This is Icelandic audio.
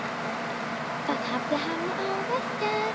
Það hafi hann ávallt gert.